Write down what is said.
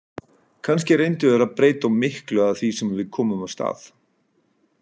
Kannski reyndu þeir að breyta of miklu af því sem við komum af stað.